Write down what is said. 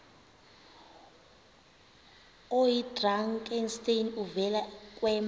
oyidrakenstein uvele kwema